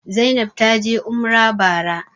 Zainab taje umrah bara